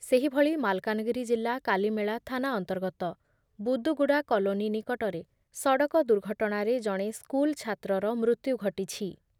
ସେହିଭଳି ମାଲକାନଗିରି ଜିଲ୍ଲା କାଲିମେଳା ଥାନା ଅନ୍ତର୍ଗତ ବୁଦୁଗୁଡ଼ା କଲୋନୀ ନିକଟରେ ସଡ଼କ ଦୁର୍ଘଟଣାରେ ଜଣେ ସ୍କୁଲ ଛାତ୍ରର ମୃତ୍ୟୁ ଘଟିଛି ।